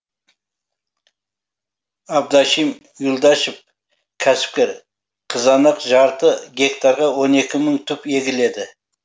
абдашим юлдашев кәсіпкер қызанақ жарты гектарға он екі мың түп егіледі